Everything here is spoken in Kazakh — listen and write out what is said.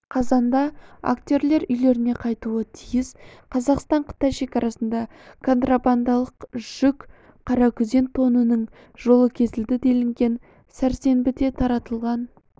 қазанда актерлер үйлеріне қайтуы тиіс қазақстан-қытай шекарасында контрабандалық жүк қаракүзен тонының жолы кесілді делінген сәрсенбіде таратылған